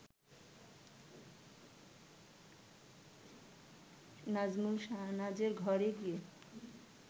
নাজমুল শাহনাজের ঘরে গিয়ে